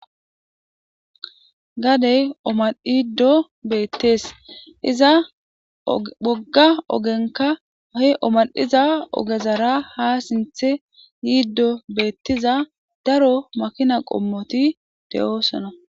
gadey omadhiddo beettees iza bhogga ogenka he omal7iza ogezara ha sinthe yiiddo beettiza daro makina qommoti de7oosona